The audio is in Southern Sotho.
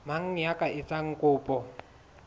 mang ya ka etsang kopo